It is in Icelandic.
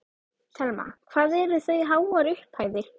Telma: Hvað eru það háar upphæðir?